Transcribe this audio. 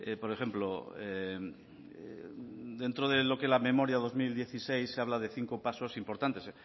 por ejemplo dentro de lo que es la memoria dos mil dieciséis se habla de cinco pasos importantes